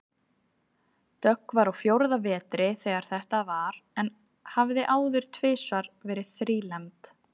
Dögg var á fjórða vetri þegar þetta var en hafði áður tvisvar verið þrílembd.